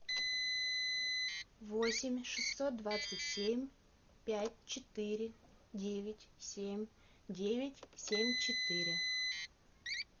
восемь шестьсот двадцать семь пять четыре девять семь девять семь четыре